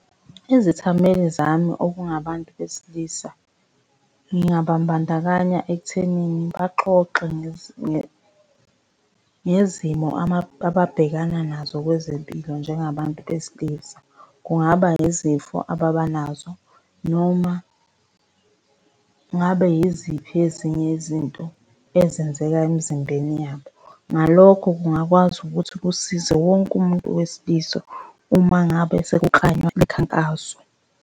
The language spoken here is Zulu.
Izithameli zami okungabantu besilisa, ngingababandakanya ekuthenini baxoxe ngezimo ababhekana nazo kwezempilo njengabantu besilisa. Kungaba izifo ababa nazo noma kungabe yiziphi ezinye izinto ezenzeka emzimbeni yabo. Ngalokho kungakwazi ukuthi kusize wonke umuntu wesilisa uma ngabe sekuklanywa imikhankaso.